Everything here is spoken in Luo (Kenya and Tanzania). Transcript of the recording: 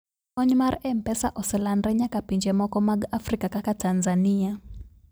kony mar mpesa oselandre nyaka pinje moko mag africa kaka tanzania